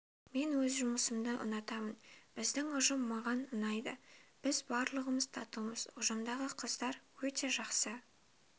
мен өз жұмысымды ұнатамын біздің ұжым маған ұнайды біз барлығымыз татумыз ұжымдағы қыздар өте жақсы